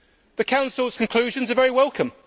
The Council's conclusions are very welcome.